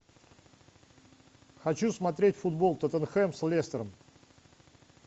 хочу смотреть футбол тоттенхэм с лестером